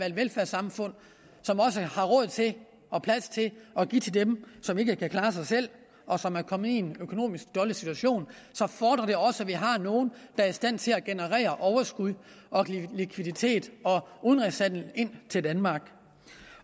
et velfærdssamfund som også har råd til og plads til at give til dem som ikke kan klare sig selv og som er kommet i en økonomisk dårlig situation fordrer det også at vi har nogle der er i stand til at generere overskud likviditet og udenrigshandel til danmark